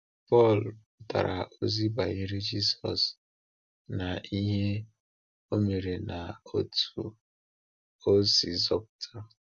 Pọl pụtara ozi banyere Jisọs na ihe Ọ mere na otú Ọ si zọpụta.